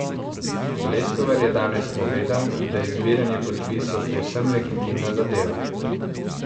Leskovar je danes povedal, da je zbiranje podpisov povsem legitimna zadeva.